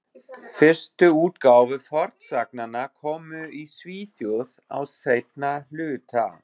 Fyrstu útgáfur fornsagnanna komu í Svíþjóð á seinna hluta